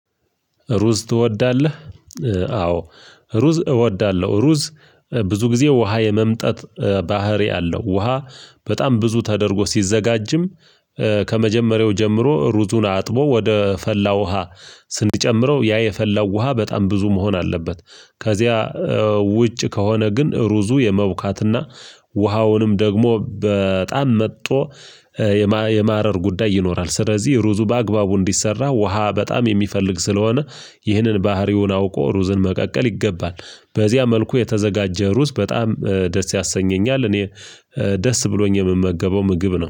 ሩዝ ትወዳለህ? አዎ ሩዝ እወዳለሁ። ሩዝ ለብዙ ጊዜ ውሃ የመምጠጥ ባህሪ አለው። ውሃ በጣም ብዙ ተደርጎ ሲዘጋጅም። ከመጀመሪያው ጀምሮ ሩዙን አጥቦ ወደ ፈላ ውሃ ስንጨምረው ያ የፈላው ውሃ በጣም ብዙ መሆን አለበት። ከዚያ ውጭ ከሆነ ግን ሩዙ የመቡካትና ውሃውንም ደግሞ በጣም መጦ የማ የማረር ጉዳይ ይኖራል። ስለዚህ ሩዙ በአግባቡ እንዲሰራ ውሃ በጣም የሚፈልግ ስለሆነ ይህንን ባህሪውን አውቆ ሩዝን መቀቀል ይገባል። በዚያ መልኩ የተዘጋጀ ሩዝ በጣም ደስ ያሰኘኛል እኔ ደስ ብሎኝ የምመገበው ምግብ ነው